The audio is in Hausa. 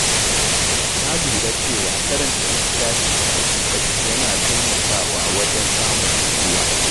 Na lura cewa karanta littafi kafin barci yana taimakawa wajen samun nutsuwa.